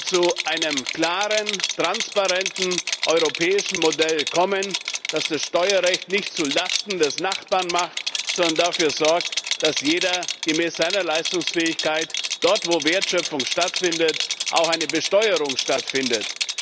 zu einem klaren, transparenten europäischen Modell kommen, das das Steuerrecht nicht zu Lasten des Nachbarn macht, sondern dafür sorgt, dass für jede gemäß seiner Leistungsfähigkeit dort, wo Wertschöpfung stattfindet, auch eine Besteuerung stattfindet.